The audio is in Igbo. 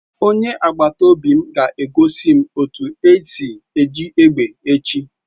Onye agbata obi m ga egosi m otu esi eji egbe echi